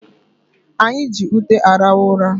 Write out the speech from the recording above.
Anyị ji ute arahụ ụra